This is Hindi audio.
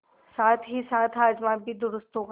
साथहीसाथ हाजमा भी दुरूस्त होगा